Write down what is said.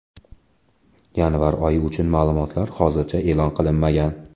Yanvar oyi uchun ma’lumotlar hozircha e’lon qilinmagan.